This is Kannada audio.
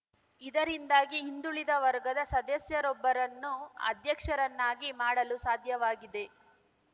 ಇದರಿಂದಾಗಿ ಹಿಂದುಳಿದ ವರ್ಗದ ಸದಸ್ಯರೊಬ್ಬರನ್ನು ಅಧ್ಯಕ್ಷರನ್ನಾಗಿ ಮಾಡಲು ಸಾಧ್ಯವಾಗಿದೆ